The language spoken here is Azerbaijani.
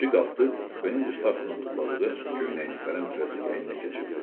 Kişi qalxdı, kupenin üst taxtına tulladığı köynəyini tələm-tələsik əyninə keçirtdi.